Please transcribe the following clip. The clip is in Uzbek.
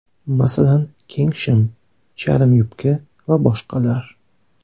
Masalan, keng shim, charm yubka va boshqalar.